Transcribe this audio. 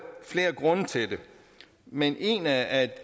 flere grunde til det men en af